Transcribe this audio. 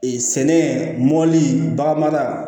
Ee sɛnɛ mɔli bagan mara